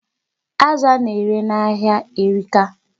Azụ a na-ere n'ahia erika.